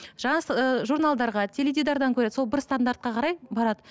ыыы журналдарға теледидардан көреді сол бір стандартқа қарай барады